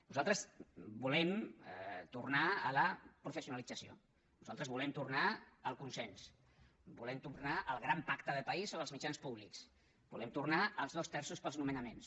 nosaltres volem tornar a la professionalització nosaltres volem tornar al consens volem tornar al gran pacte de país sobre els mitjans públics volem tornar als dos terços per als nomenaments